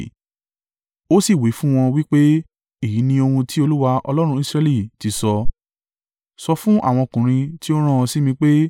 Ó sì wí fún wọn wí pé, “Èyí ni ohun tí Olúwa, Ọlọ́run Israẹli ti sọ, sọ fún àwọn ọkùnrin tí ó rán ọ sí mi pé,